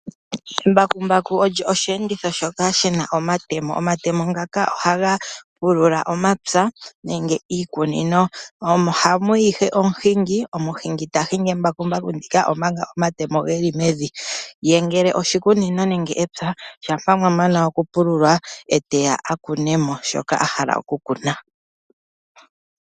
Embakumbaku olyo oshiyenditho shoka shi na omatemo. Omatemo ngaka ohaga pulula omapya nenge iikunino, omo hamu yi ihe omuhingi, omuhingi ta hingi embakumbaku ndika omanga omatemo ge li mevi, ye ngele oshikunino nenge epya mwa pu okupululwa ye teya a kune mo shoka a hala okukuna.